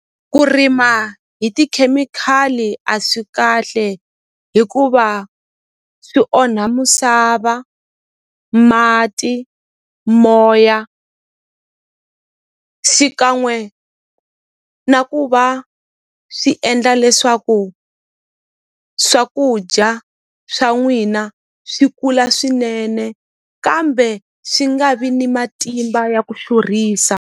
Ku rima hi tikhemikhali a swi kahle hikuva swi onha musava mati moya xikan'we na ku va swi endla leswaku swakudya swa n'wina swi kula swinene kambe swi nga vi ni matimba ya ku xurhisa.